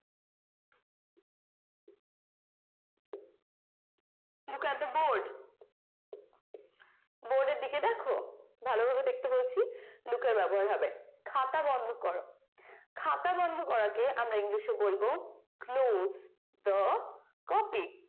look at the board board এর দিকে দেখো ভালোভাবে দেখতে বলছি look এর ব্যবহার হবে খাতা বন্ধ করো খাতা বন্ধ করাকে আমরা english এ বলব close the copy